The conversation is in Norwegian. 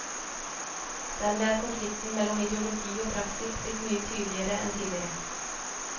Dermed er konflikten mellom ideologi og praksis blitt mye tydeligere enn tidligere.